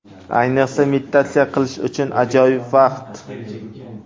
Ayniqsa, meditatsiya qilish uchun ajoyib vaqt.